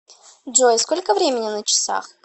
джой сколько времени на часах